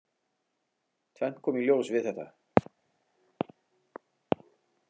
Tvennt kom í ljós við þetta.